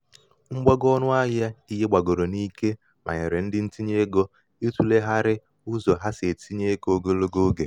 mgbago ọnụ ahịa ihe gbàgòrò n’ike mànyèrè ndị ntinyeegō ịtụ̀lèghàrị̀ ụzọ ha sì etīnyē ego ogologo ogè.